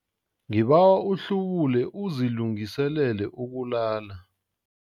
Ngibawa uhlubule uzilungiselele ukulala.